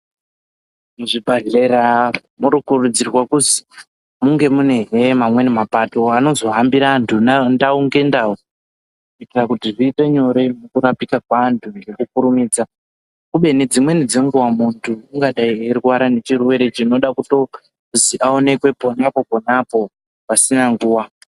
Muzvibhadhlera murukurudzirwa kuzi munge munehe mamweni mapato anozohambira vantu ndau ngendau. Kuitira kuti zviite nyore mukurapika kweantu ngekukurumidza. Kubeni dzimweni dzenguva muntu ungadai eirwara nechirwere chinoda kutozi aonekwe ponapo-panapo pasina nguva.